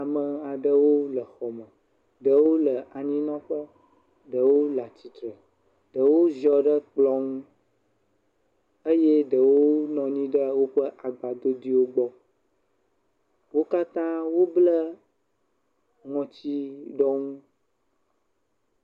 Ame aɖewo le xɔ me. Ɖewo le anyinɔƒe, ɖewo le tsitre, ɖewo ziɔ ɖe kplɔ ŋu eye ɖewo nɔ anyi ɖe woƒe agbadodoewo gbɔ. Wo katã woble ŋɔtsiɖɔnu.